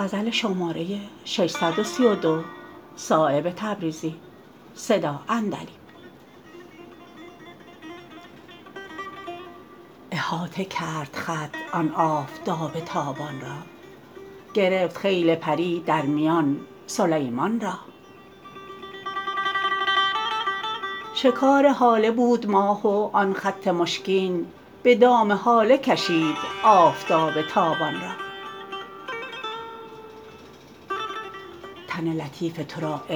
احاطه کرد خط آن آفتاب تابان را گرفت خیل پری در میان سلیمان را شکار هاله بود ماه و آن خط مشکین به دام هاله کشید آفتاب تابان را تن لطیف ترا عطر خار پیرهن است به بوی گل مگشا چاک آن گریبان را مشو ز حال دل ای یار تازه خط غافل که نیست جز دل ما شمعی این شبستان را به حکمت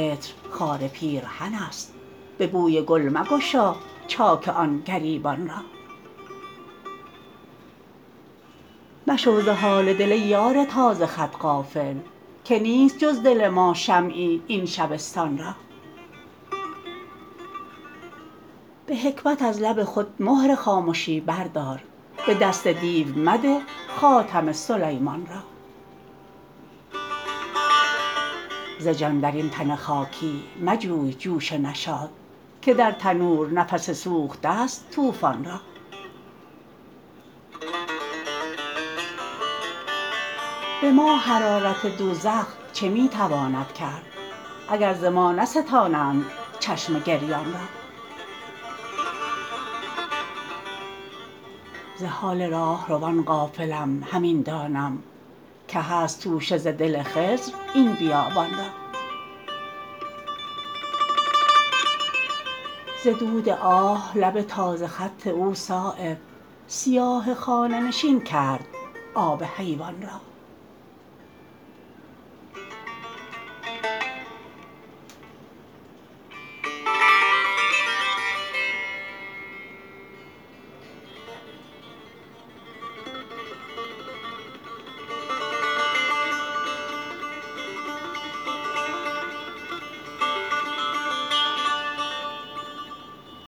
از لب خود مهر خامشی بردار به دست دیو مده خاتم سلیمان را ز جان درین تن خاکی مجوی جوش نشاط که در تنور نفس سوخته است طوفان را به ما حرارت دوزخ چه می تواند کرد اگر ز ما نستانند چشم گریان را ز حال راهروان غافلم همین دانم که هست توشه ز دل خضر این بیابان را ز دود آه لب تازه خط او صایب سیاه خانه نشین کرد آب حیوان را